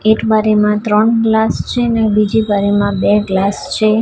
એક બારીમાં ત્રણ ગ્લાસ છે ને બીજી બારીમાં બે ગ્લાસ છે.